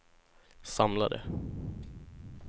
samlade